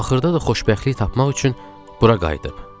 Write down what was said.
Axırda da xoşbəxtlik tapmaq üçün bura qayıdıb.